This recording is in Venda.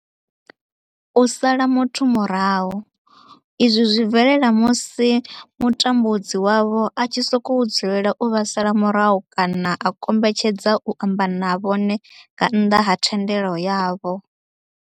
U sala muthu murahu, izwi zwi bvelela musi mutambudzi wavho a tshi sokou dzulela u vha sala murahu kana a kombetshedza u amba na vhone nga nnḓa ha thendelo yavho.